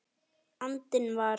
andinn var.